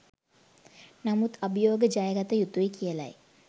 නමුත් අභියෝග ජයගත යුතුයි කියලයි